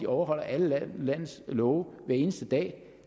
overholder alle landets love hver eneste dag